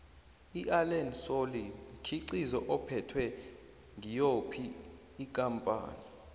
iallen solly mkhiqizo uphethwe ngiyophi ikampani